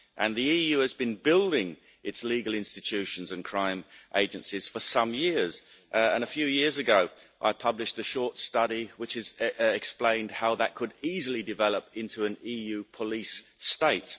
The EU has been building its legal institutions and crime agencies for some years, and a few years ago I published a short study which explained how that could easily develop into an EU police state.